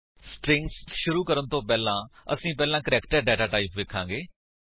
strings ਸ਼ੁਰੂ ਕਰਨ ਵਲੋਂ ਪਹਿਲਾਂ ਅਸੀ ਪਹਿਲਾਂ ਕਰੈਕਟਰ ਡੇਟਾਟਾਇਪ ਵੇਖਾਂਗੇ